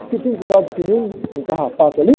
Fiquei pendurado que nem um, um carrapato ali.